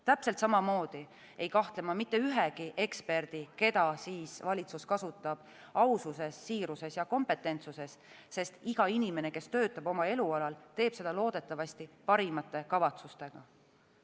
Täpselt samamoodi ei kahtle ma mitte ühegi eksperdi, keda valitsus kasutab, aususes, siiruses ja kompetentsuses, sest iga inimene, kes töötab oma elualal, teeb seda loodetavasti parimate kavatsustega.